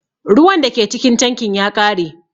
Ruwan da ke cikin tankin ya ƙare.